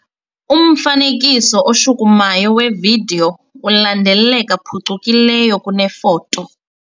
Umfanekiso oshukumayo wevidiyo ulandeleka phucukileyo kunefoto.